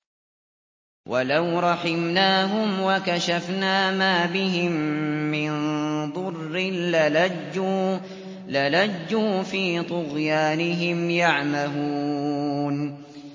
۞ وَلَوْ رَحِمْنَاهُمْ وَكَشَفْنَا مَا بِهِم مِّن ضُرٍّ لَّلَجُّوا فِي طُغْيَانِهِمْ يَعْمَهُونَ